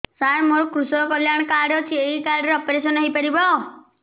ସାର ମୋର କୃଷକ କଲ୍ୟାଣ କାର୍ଡ ଅଛି ଏହି କାର୍ଡ ରେ ଅପେରସନ ହେଇପାରିବ